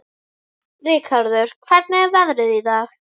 Rikharður, hvernig er veðrið í dag?